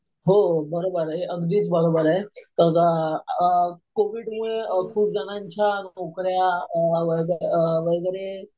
हो बरोबर आहे. अगदीच बरोबर आहे. तर कोविडमुळे खूप जणांच्या नोकऱ्या वगैरे